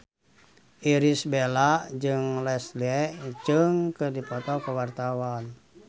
Irish Bella jeung Leslie Cheung keur dipoto ku wartawan